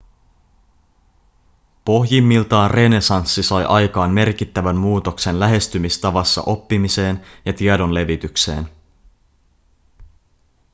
pohjimmiltaan renessanssi sai aikaan merkittävän muutoksen lähestymistavassa oppimiseen ja tiedon levitykseen